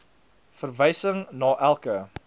verwysing na elke